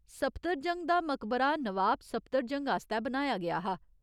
सफदरजंग दा मकबरा नवाब सफदरजंग आस्तै बनाया गेआ हा।